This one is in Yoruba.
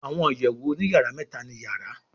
Àwọn ìyèwù òní-yara méta ní yàrá